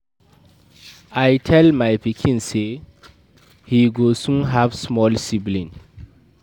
I tell my pikin say he go soon have small sibling